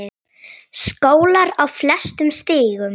Skólar á flestum stigum.